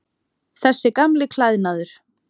Þessi gamli klæðnaður.